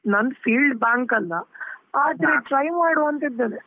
ನಂದ್ field bank ಅಲ್ಲಾ, try ಮಾಡ್ವಾ ಅಂತಾ ಇದ್ದೇನೆ.